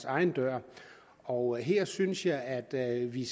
egen dør og her synes jeg at vi